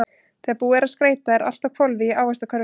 Þegar búið er að skreyta er allt á hvolfi í Ávaxtakörfunni.